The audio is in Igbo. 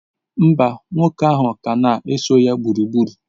Mba, nwoke ahụ ka na-eso ya gburugburu.